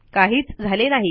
काहीच झाले नाही